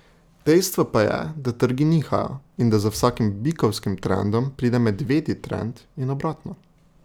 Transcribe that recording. Dejstvo pa je, da trgi nihajo in da za vsakim bikovskim trendom pride medvedji trend in obratno.